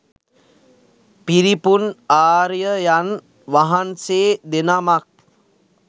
පිරිපුන් ආර්යයන් වහන්සේ දෙනමක්.